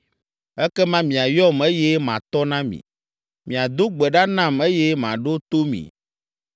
Ekema miayɔm eye matɔ na mi, miado gbe ɖa nam eye maɖo to mi.